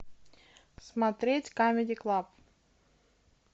смотреть камеди клаб